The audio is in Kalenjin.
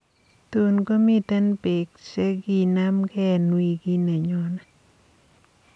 Tuun komiten beek cheginamge eng wiikit nenyone